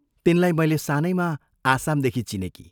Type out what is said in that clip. तिनलाई मैले सानैमा आसामदेखि चिनेकी।